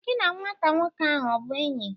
Gi na nwata nwoke ahụ ọ bụ enyi?